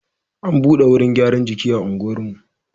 An buɗe wurin gyaran jiki a unguwarmu.